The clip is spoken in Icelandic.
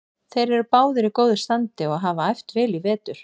Þeir eru báðir í góðu standi og hafa æft vel í vetur.